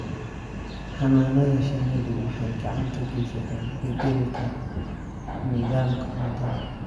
Xannaanada shinnidu waxay gacan ka geysataa beddelka nidaamka cuntada.